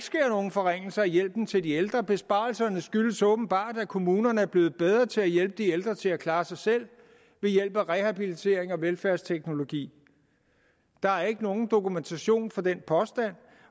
forringelser af hjælpen til de ældre besparelserne skyldes åbenbart at kommunerne er blevet bedre til at hjælpe de ældre til at klare sig selv ved hjælp af rehabilitering og velfærdsteknologi der er ikke nogen dokumentation for den påstand